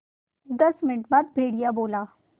दस मिनट बाद भेड़िया बोला